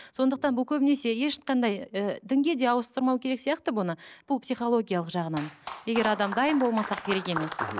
сондықтан бұл көбінесе ешқандай і дінге де ауыстырмау керек сияқты бұны бұл психологиялық жағынан егер адам дайын болмаса керек емес мхм